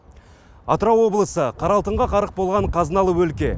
атырау облысы қара алтынға қарық болған қазыналы өлке